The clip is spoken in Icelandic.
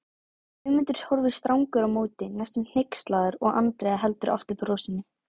Guðmundur horfir strangur á móti, næstum hneykslaður og Andrea heldur aftur af brosinu.